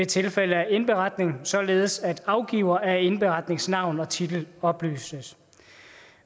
tilfælde af indberetning således at afgiver af indberetnings navn og titel oplyses